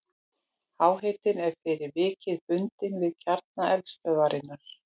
Háhitinn er fyrir vikið bundinn við kjarna eldstöðvarinnar.